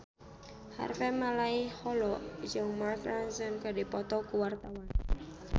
Harvey Malaiholo jeung Mark Ronson keur dipoto ku wartawan